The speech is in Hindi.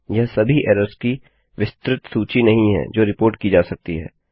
यह सभी एरर्स की विस्तृत सूची नहीं है जो रिपोर्ट की जा सकती है